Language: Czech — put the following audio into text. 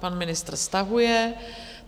Pan ministr stahuje.